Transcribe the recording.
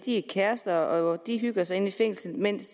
er kærester og at de hygger sig inde i fængslet mens